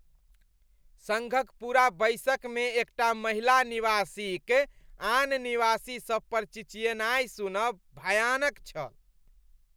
सङ्घक पूरा बैसकमे एकटा महिला निवासीक आन निवासीसभ पर चिचियेनाइ सुनब भयानक छल।